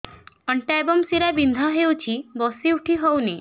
ଅଣ୍ଟା ଏବଂ ଶୀରା ବିନ୍ଧା ହେଉଛି ବସି ଉଠି ହଉନି